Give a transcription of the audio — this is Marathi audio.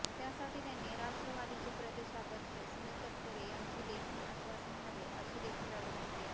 त्यासाठी त्यांनी राष्ट्रवादीचे प्रदेशाध्यक्ष सुनील तटकरे यांचे लेखी आश्वासन हवे अशीदेखील अट घातली आहे